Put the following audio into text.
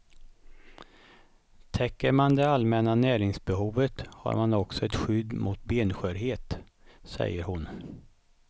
Täcker man det allmänna näringsbehovet har man också ett skydd mot benskörhet, säger hon.